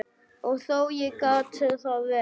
Og þó, ég gat það vel.